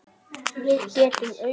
Við getum ausið.